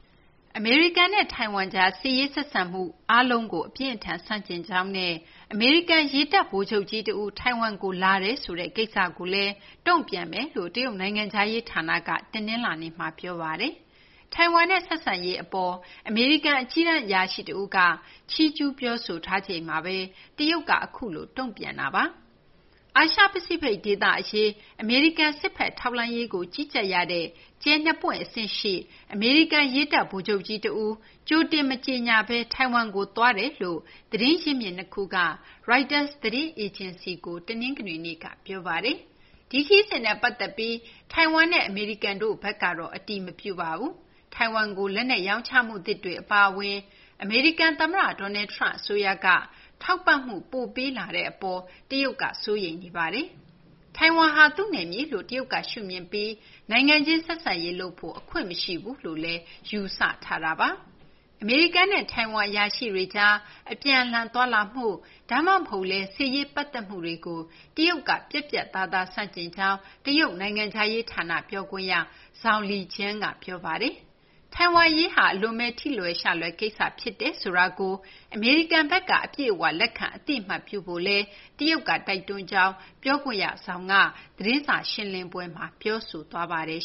အမေရိကန်နဲ့ ထိုင်ဝမ်ကြား စစ်ရေးဆက်ဆံမှု အားလုံးကို အပြင်းအထန် ဆန့်ကျင်ကြောင်းနဲ့ အမေရိကန် ရေတပ် ဗိုလ်ချုပ်ကြီးတဦး ထိုင်ဝမ်ကို လာရောက်တယ်ဆိုတဲ့ကိစ္စကိုလည်း တုံ့ပြန်မယ်လို့ တရုတ်နိုင်ငံခြားရေးဌာနက တနလာၤနေ့က ပြောဆိုလိုက်ပါတယ်။ ထိုင်ဝမ်နဲ့ ဆက်ဆံရေးအပေါ် အမေရိကန်အကြီးတန်း အရာရှိတဦးက ချီးကျူး ပြောဆိုထားချိန်မှာဘဲ တရုတ်ဘက်က အခုလို ပြောဆိုလိုက်တာ ဖြစ်ပါတယ်။ အာရှ ပစိဖိတ်ဒေသအရေး အမေရိကန်စစ်ဘက်ထောက်လှမ်းရေးကို ကြီးကြပ်ရတဲ့ ကြယ်၂ ပွင့်အဆင့်ရှိ အမေရိကန် ရေတပ်ဗိုလ်ချုပ်ကြီးတဦး ကြိုတင်မကြေညာဘဲ ထိုင်ဝမ်ကို သွားရောက်တယ်လို့ သတင်းရင်းမြစ် ၂ ခုက ရိုက်တာသတင်းအေဂျင်စီကို တနင်္ဂနွေနေ့က ပြောဆိုထားပါတယ်။ ဒီခရီးစဉ်နဲ့ ပတ်သက်ပြီး ထိုင်ဝမ်နဲ့ အမေရိကန်တို့ဘက်ကတော့ အတည်မပြုပါဘူး။ ထိုင်ဝမ်ကို လက်နက်ရောင်းချမှုသစ်တွေအပါအဝင် အမေရိကန်သမ္မတ Donald Trump အစိုးရက ထောက်ပံ့မှုပိုပေးလာတဲ့အပေါ် တရုတ်ကစိုးရိမ်နေတာပါ။ ထိုင်ဝမ်ဟာ သူ့နယ်မြေလို့ တရုတ်က ရှုမြင်ပြီး နိုင်ငံချင်းဆက်ဆံရေးလုပ်ဖို့ အခွင့်မရှိဘူးလို့လည်း ရှုမြင်ထားတာပါ။ အမေရိကန်နဲ့ ထိုင်ဝမ်အရာရှိတွေကြား အပြန်အလှန်သွားလာမှု ဒါမှမဟုတ်လည်း စစ်ရေးပတ်သက်မှုတွေကို တရုတ်ကပြတ်ပြတ်သားသားဆန့်ကျင်ကြောင်း တရုတ်နိုင်ငံခြားရေးဌာန ပြောခွင့်ရ Zhao Lijian က ပြောပါတယ်။ ထိုင်ဝမ် အရေးဟာ အလွန်ဘဲ ထိလွယ်ရှလွယ်ကိစ္စ ဖြစ်တယ်ဆိုတာကို အမေရိကန်ဘက်က အပြည့်အဝလက်ခံ အသိအမှတ်ပြုဖို့လည်း တရုတ်က တိုက်တွန်းကြောင်း ပြောခွင့်ရ Zhao က သတင်းစာ ရှင်းလင်းပွဲမှာ ပြောဆိုသွားပါတယ်